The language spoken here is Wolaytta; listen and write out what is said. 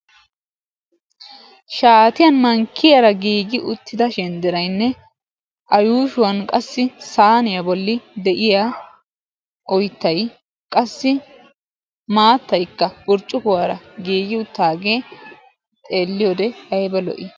Shaatiyan mankiyaara giigi uttida shenderaynne a yuushuwan qassi saaniya bolli de"iya oyyttay qassi maattaykka burccukuwaara giigi uttaagee xelliyoode ayba lo"i?